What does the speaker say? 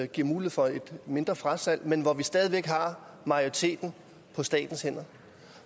giver mulighed for et mindre frasalg men hvor vi stadig væk har majoriteten på statens hænder